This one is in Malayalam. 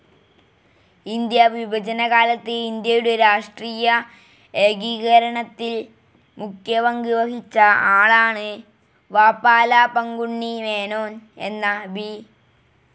ഇന്ത്യാ വിഭജനക്കാലത്ത് ഇന്ത്യയുടെ രാഷ്ട്രീയ ഏകീകരണത്തിൽ മുഖ്യപങ്ക് വഹിച്ച ആളാണ് വാപ്പാല പങ്കുണ്ണി മേനോൻ എന്ന വി.